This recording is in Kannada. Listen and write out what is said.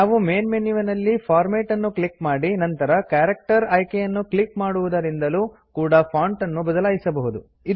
ನಾವು ಮೇನ್ ಮೆನು ವಿನಲ್ಲಿ ಫಾರ್ಮ್ಯಾಟ್ ನ್ನು ಕ್ಲಿಕ್ ಮಾಡಿ ನಂತರ ಕ್ಯಾರೆಕ್ಟರ್ ಆಯ್ಕೆಯನ್ನು ಕ್ಲಿಕ್ ಮಾಡುವುದರಿಂದಲೂ ಕೂಡ ಫಾಂಟ್ ನ್ನು ಬದಲಾಯಿಸಬಹುದು